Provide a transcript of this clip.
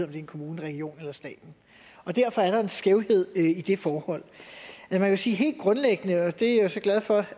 er en kommune en region eller staten derfor er der en skævhed i det forhold men man kan sige at helt grundlæggende og det er jeg så glad for